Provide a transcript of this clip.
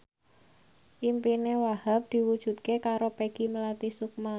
impine Wahhab diwujudke karo Peggy Melati Sukma